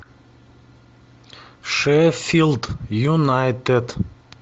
шеффилд юнайтед